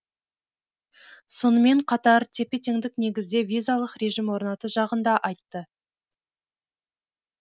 сонымен қатар тепе теңдік негізде визалық режим орнату жағын да айтты